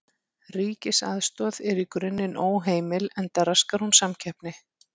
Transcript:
Ríkisaðstoð er í grunninn óheimil enda raskar hún samkeppni.